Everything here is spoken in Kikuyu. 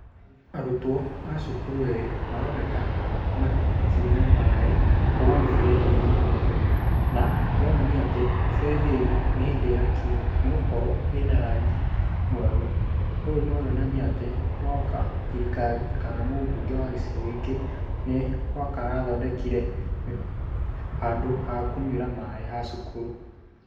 Arutwo a cukuru erĩ maroneka makĩnyua maaĩ kuma mĩberethi-inĩ mĩerũ, na kũronania atĩ mĩberethi ĩno nĩhĩndĩ ĩrakirwo nĩgũkorwo ĩna rangi mwerũ. Ũũ no yonanie atĩ nanga thirikari kana mũbunge wa gĩcigo gĩkĩ no anga wee ũrathondekire handũ ha kũnyuĩra maaĩ ha cukuru.